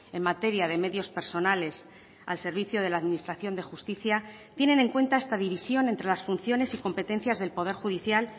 en materia de medios personales al servicio de la administración de justicia tienen en cuenta esta división entre las funciones y competencias del poder judicial